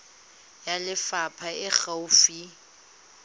ya lefapha e e gaufi